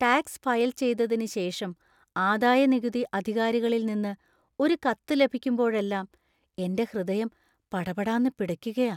Tax file ചെയ്തതിന് ശേഷം ആദായനികുതി അധികാരികളിൽ നിന്ന് ഒരു കത്ത് ലഭിക്കുമ്പോഴെല്ലാം എന്‍റെ ഹൃദയം പടപടാന്ന് പിടയ്ക്കുകാ.